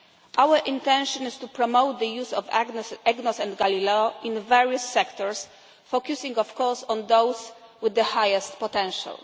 Our intention is to promote the use of EGNOS and Galileo in various sectors, focusing of course on those with the highest potential.